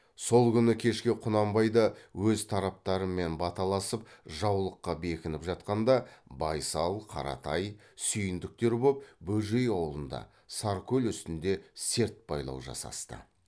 сол күні кеше құнанбай да өз тараптарымен баталасып жаулыққа бекініп жатқанда байсал қаратай сүйіндіктер боп бөжей аулында саркөл үстінде серт байлау жасасты